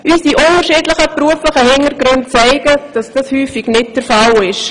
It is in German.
Durch unsere unterschiedlichen beruflichen Hintergründe wissen wir, dass dies häufig nicht der Fall ist.